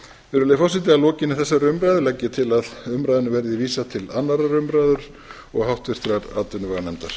virðulegi forseti að lokinni þessari umræðu legg ég til að frumvarpinu verði vísað til annarrar umræðu og háttvirtrar atvinnuveganefndar